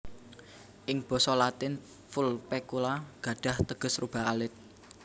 Ing basa Latin Vulpecula gadhah teges rubah alit